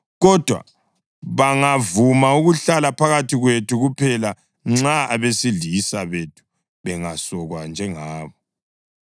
Kodwa bangavuma ukuhlala phakathi kwethu kuphela nxa abesilisa bethu bengasokwa njengabo.